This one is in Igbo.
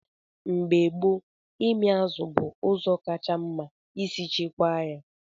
Mgbe gboo, ịmị azụ bụ ụzọ kacha mma isi chekwaa ya.